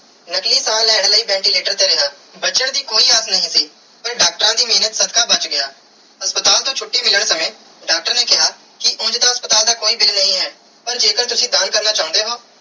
ਨਕਲੀ ਸਾਹ ਲੈਣ ਲਾਇ ventilator ਤੇ ਰਿਆ ਬਚਨ ਦੀ ਕੋਈ ਆਗਿਆ ਨਾਈ ਸੀ ਪਾਰ ਡਾਕਟਰਾਂ ਦੀ ਮੇਹਰ ਸਦਕਾ ਬਚ ਗਿਆ ਹਸਪਤਾਲ ਤੂੰ ਛੁਟੀ ਮਿਲਣ ਸਮੇ ਡਾਕਟਰ ਨੇ ਕੀਆ ਕੇ ਉਂਜ ਤੇ ਹਸਪਤਾਲ ਦਾ ਕੋਈ bill ਨਾਈ ਹੈ ਪਾਰ ਜੇ ਕਰ ਤੁਸੀਂ ਦਾਨ ਕਰਨਾ ਚਾਨੇ ਹੋ.